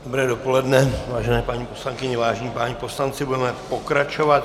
Dobré dopoledne, vážené paní poslankyně, vážení páni poslanci, budeme pokračovat.